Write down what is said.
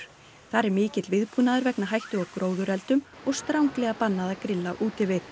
þar er mikill viðbúnaður vegna hættu á gróðureldum og stranglega bannað að grilla úti við